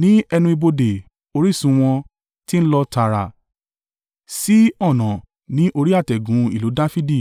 Ní ẹnu ibodè orísun wọ́n ti ń lọ tààrà sí ọ̀nà ní orí àtẹ̀gùn ìlú Dafidi